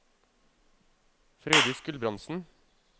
Frøydis Gulbrandsen